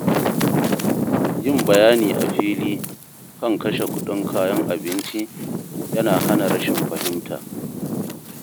Yin bayani a fili kan kashe kuɗin kayan abinci yana hana rashin fahimta.